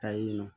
Ka yen nɔ